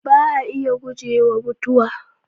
Ba a iya gujewa Mutuwa